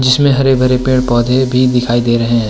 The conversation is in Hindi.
जिसमे हरे-भरे पेड़-पौधे भी दिखाई दे रहे हैं।